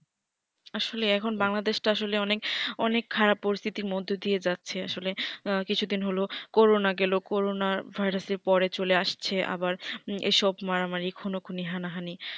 আসলে এখন বাংলাদেশ টা আসলে এখন অনেক খারাপ পরিস্তিতির মধ্যে দিয়ে যাচ্ছে আসলে আঃ কিছু দিন হলো করোনা গেল করোনা vairas আর পরে চলে আসছে আবার এসব মারামারি খুনোখুনি হানাহানি